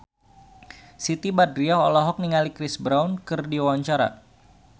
Siti Badriah olohok ningali Chris Brown keur diwawancara